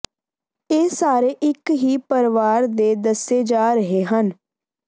ਇਹ ਸਾਰੇ ਇਕ ਹੀ ਪਰਵਾਰ ਦੇ ਦੱਸੇ ਜਾ ਰਹੇ ਹਨ